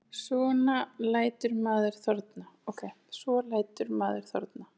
Svo lætur maður þorna.